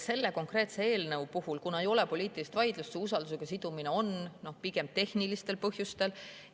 See konkreetne eelnõu, kuna siin ei ole poliitilist vaidlust, on usaldus seotud pigem tehnilistel põhjustel.